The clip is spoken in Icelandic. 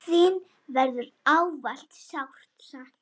Þín verður ávallt sárt saknað.